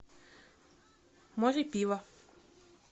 море пива